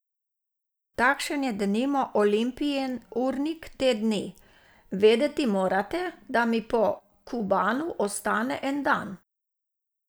Takšen je denimo Olimpijin urnik te dni: "Vedeti morate, da mi po Kubanu ostane en dan.